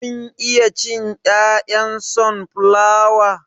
Kun iya cin 'ya'yan sonflawa?